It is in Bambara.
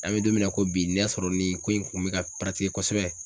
An bɛ don min na i ko bi n'a sɔrɔ nin ko in kun bɛ ka kosɛbɛ.